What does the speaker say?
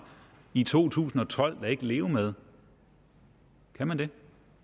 i to tusind og tolv da ikke leve med kan han